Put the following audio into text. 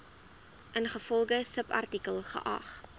ingevolge subartikel geag